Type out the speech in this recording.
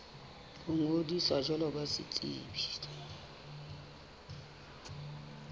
ho ngodisa jwalo ka setsebi